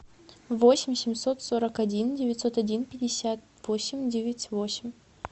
восемь семьсот сорок один девятьсот один пятьдесят восемь девять восемь